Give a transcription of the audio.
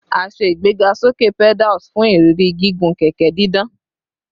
A ṣe igbegasoke pedals fun iriri gigun kẹkẹ didan